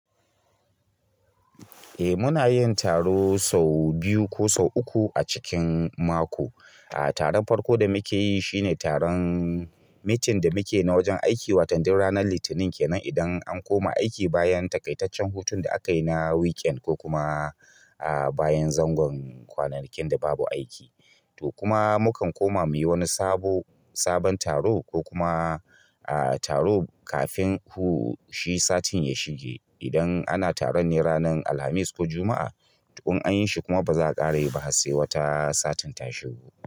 Eh muna yin taro sau biyu ko sau uku a cikin mako. Ah taron farko da muke yi shine taron meeting da muke na wajen aiki watan duk ranar Litinin kenan idan an koma aiki bayan taƙaitaccen hutun da aka yi na weekend ko kuma a bayan zangon kwananakin da babu aiki. To kuma mukan koma muyi wani sabo sabon taro ko kuma a taro kafin ku shi satin ya shige. Idan ana taron ne ranar Alhamis ko Juma'a, to in yi shi kuma ba za'a ƙare yi ba har se wata satin ta shigo.